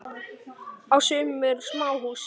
Á sumum eru smáhús.